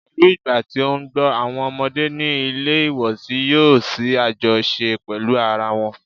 Pẹ̀lú ìgbà tí ó ń gbọ́, àwọn ọmọdé ní ilé ìwòsí yòó ní àjọṣe pẹ́lú ara wọn.